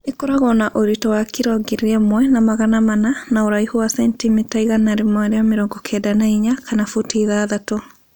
Ĩkoragwo na ũritũ wa kilo ngiri ĩmwe na magana mana na ũraihu wa sentimita 194 kana futi ithathatu